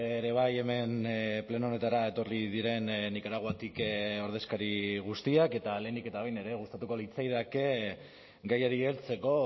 ere bai hemen pleno honetara etorri diren nikaraguatik ordezkari guztiak eta lehenik eta behin ere gustatuko litzaidake gaiari heltzeko